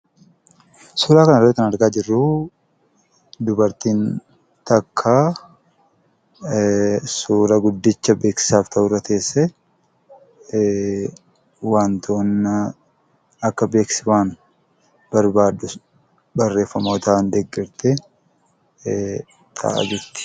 Suuraa kanarratti kan argaa jirru dubartiin tokko suura guddicha beeksisaaf ta'urra teessee, akka beeksisa waan barbaadu barreeffamootaan deeggartee taa'aa jirti.